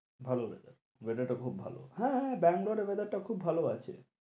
ভালো weather weather টা খুব ভালো। হ্যাঁ দামোদরের weather টা খুব ভালো আছে।